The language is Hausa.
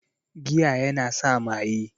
Giya yana sa maye